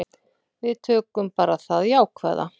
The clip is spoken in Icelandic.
Við tökum bara það jákvæða.